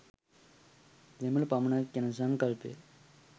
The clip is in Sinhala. දෙමළ පමණක් යන සංකල්පය